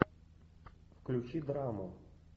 включи драму